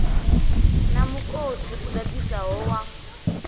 na mukosi u ḓaḓisaho wa